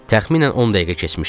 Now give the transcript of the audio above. Təxminən 10 dəqiqə keçmişdi.